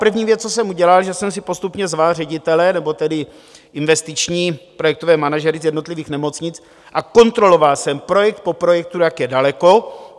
První věc, co jsem udělal, že jsem si postupně zval ředitele, nebo tedy investiční projektové manažery z jednotlivých nemocnic a kontroloval jsem projekt po projektu, jak je daleko.